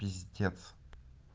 пиздец